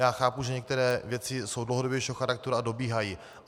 Já chápu, že některé věci jsou dlouhodobějšího charakteru a dobíhají.